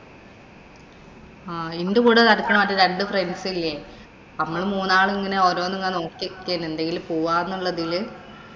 ആഹ് ഇന്‍റെ കൂടെ നടക്കണ രണ്ടു friends ഇല്ലേ. നമ്മള് മൂന്നാളും ഇങ്ങനെ ഓരോന്ന് നോക്കിയിരിക്കയാണ്. എന്തേലും പോവാന്നുള്ളത്തില്.